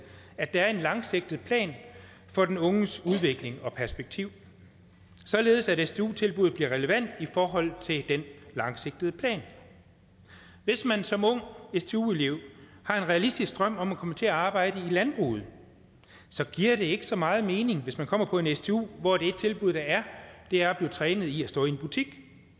at der er en langsigtet plan for den unges udvikling og perspektiv således at stu tilbuddet bliver relevant i forhold til den langsigtede plan hvis man som ung stu elev har en realistisk drøm om at komme til at arbejde i landbruget giver det ikke så meget mening hvis man kommer på en stu hvor det tilbud der er er at blive trænet i at stå i butik